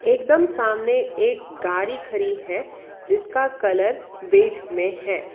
एकदम सामने एक गाड़ी खड़ी है जिसका कलर में है।